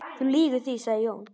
Þú lýgur því, sagði Jón.